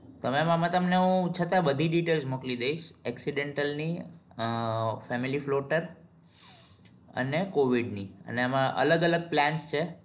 તો mem આમા તમને હું તમને છતાં બધી details મોકલી દઈશ accidental ની અ filmi floater અને covid ની અને એમાં અલગ અલગ plan છે